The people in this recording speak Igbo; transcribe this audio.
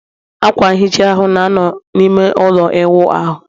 akwa nghicha ahụ, na-anọ n'ime ime ụlọ ịwụ ahụ